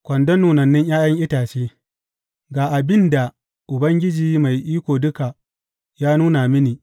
Kwandon nunannun ’ya’yan itace Ga abin da Ubangiji Mai Iko Duka ya nuna mini.